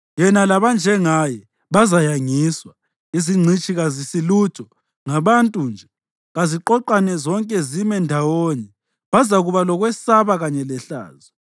Yena labanjengaye bazayangiswa; izingcitshi kazisilutho, ngabantu nje. Kaziqoqane zonke zime ndawonye; bazakuba lokwesaba kanye lehlazo.